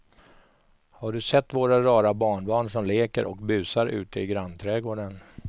Har du sett våra rara barnbarn som leker och busar ute i grannträdgården!